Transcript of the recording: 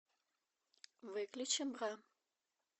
выключи бра